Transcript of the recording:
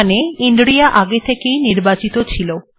এখানে ইন্রিয়া আগে থেকে ই নির্বাচিত ছিল